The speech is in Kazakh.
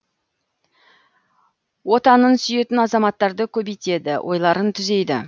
отанын сүйетін азаматтарды көбейтеді ойларын түзейді